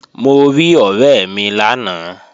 Mo rí ọ̀rẹ́ mi lánàá